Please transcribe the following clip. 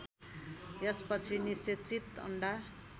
यसपछि निषेचित अन्डा